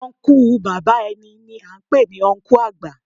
Ọnkú bàbá ẹni ni à ń pè ní Ọnkú àgbà